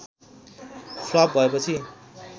flop भएपछि